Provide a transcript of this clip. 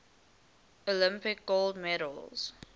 olympic gold medals